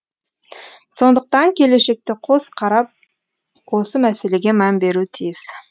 сондықтан келешекте қос қарап осы мәселеге мән беруі тиіс